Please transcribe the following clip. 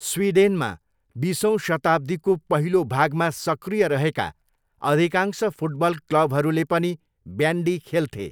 स्विडेनमा, बिसौँ शताब्दीको पहिलो भागमा सक्रिय रहेका अधिकांश फुटबल क्लबहरूले पनि ब्यान्डी खेल्थे।